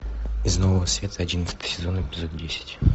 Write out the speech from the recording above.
из нового света одиннадцатый сезон эпизод десять